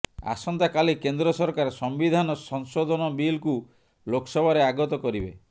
ଆସନ୍ତାକାଲି କେନ୍ଦ୍ର ସରକାର ସମ୍ବିଧାନ ସଂଶୋଧନ ବିଲ୍କୁ ଲୋକସଭାରେ ଆଗତ କରିବେ